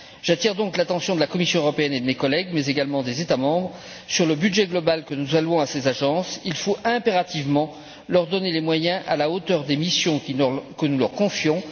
J'attire donc l'attention de la Commission européenne et de mes collègues, mais également des États membres, sur le budget global que nous allouons à ces agences il faut impérativement leur donner des moyens à la hauteur des missions que nous leur confions.